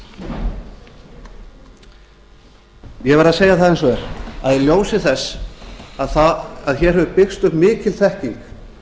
ég verð að segja það eins og er að í ljósi þess að hér hefur byggst upp mikil þekking